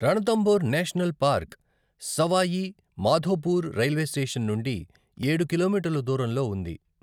Ranthambore national park Sawai Madhopur railway station నుండి ఏడు కిలోమీటర్లు దూరంలో ఉంది.